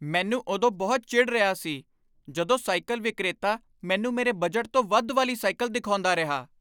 ਮੈਨੂੰ ਉਦੋਂ ਬਹੁਤ ਚਿੜ੍ਹ ਰਿਹਾ ਸੀ ਜਦੋਂ ਸਾਈਕਲ ਵਿਕਰੇਤਾ ਮੈਨੂੰ ਮੇਰੇ ਬਜਟ ਤੋਂ ਵੱਧ ਵਾਲੀ ਸਾਈਕਲ ਦਿਖਾਉਂਦਾ ਰਿਹਾ।